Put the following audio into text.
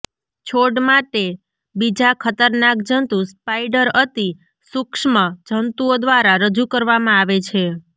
છોડ માટે બીજા ખતરનાક જંતુ સ્પાઈડર અતિ સૂક્ષ્મ જંતુઓ દ્વારા રજૂ કરવામાં આવે છે